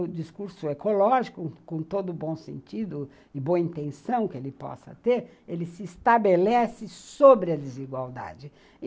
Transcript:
O discurso ecológico, com todo o bom sentido e boa intenção que ele possa ter, ele se estabelece sobre a desigualdade e